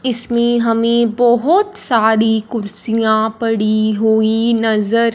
इसमें हमें बहोत सारी कुर्सियां पड़ी हुई नजर--